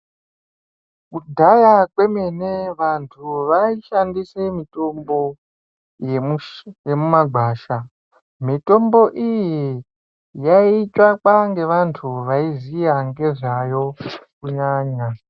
Kudhaya kwemene vantu vai shandise mitombo yemuma gwasha mitombo iyi yai tsvakwa ngevantu vai ziya ngezvayo kunyanya.